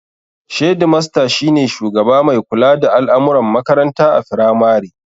Shedimasta shine shugaba mai kula da al'amuran makaranta a firamare